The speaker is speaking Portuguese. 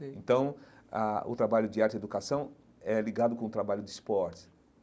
Então, a o trabalho de arte e educação é ligado com o trabalho de esportes.